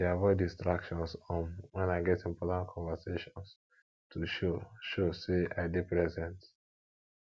i dey avoid distractions um wen i get important conversations to show show sey i dey present